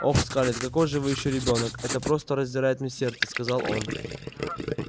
ох скарлетт какой же вы ещё ребёнок это просто раздирает мне сердце сказал он